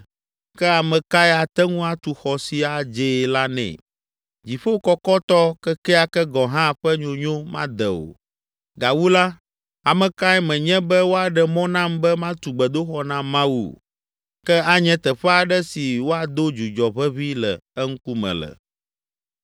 Ke ame kae ate ŋu atu xɔ si adzee la nɛ? Dziƒo kɔkɔtɔ kekeake gɔ̃ hã ƒe nyonyo made o! Gawu la, ame kae menye be woaɖe mɔ nam be matu gbedoxɔ na Mawu? Ke anye teƒe aɖe si woado dzudzɔ ʋeʋĩ le eŋkume le.